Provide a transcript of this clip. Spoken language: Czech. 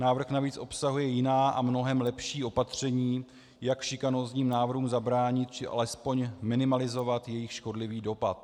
Návrh navíc obsahuje jiná a mnohem lepší opatření, jak šikanózním návrhům zabránit či alespoň minimalizovat jejich škodlivý dopad.